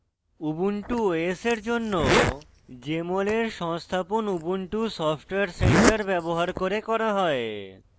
ubuntu os for জন্য jmol for সংস্থাপন ubuntu software center ব্যবহার করে করা হয়